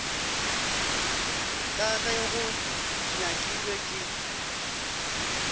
ka ge go nyakilwe ke